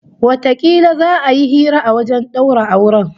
Watakila za'a yi hira a wajen daura auren